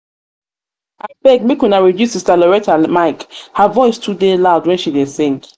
abeg make una dey reduce sister loretta mic mic her voice too dey loud when she dey sing